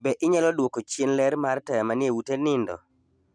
Be inyalo duoko chien ler mar taya manie ute nindo?